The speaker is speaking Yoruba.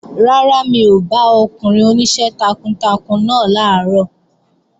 Rárá, mi ò bá ọkùnrin oníṣẹ́ takuntakun náà làárọ̀